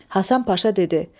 Hasan Paşa dedi: